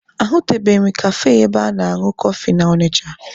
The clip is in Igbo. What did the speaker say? Ahụtubeghị m kafe ebe a na-añụ kọfị na Ọnịcha.